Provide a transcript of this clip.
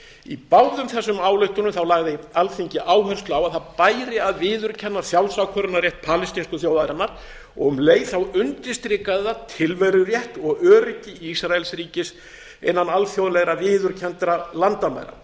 í báðum þessum ályktunum lagði alþingi áherslu á að það bæri að viðurkenna sjálfsákvörðunarrétt palestínsku þjóðarinnar og um leið undirstrikaði það tilverurétt og öryggi ísraelsríkis innan alþjóðlegra viðurkenndra landamæra